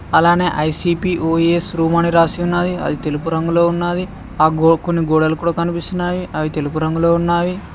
అలానే ICP OS room అని రాసిన ఉన్నది అది తెలుపు రంగులో ఉన్నది ఆ గోకొని గోడలు కూడా కనిపిస్తున్నాయి అవి తెలుగు రంగులో ఉన్నావి.